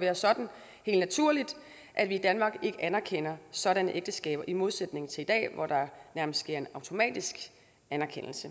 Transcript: være sådan at vi i danmark ikke anerkender sådanne ægteskaber i modsætning til i dag hvor der nærmest sker en automatisk anerkendelse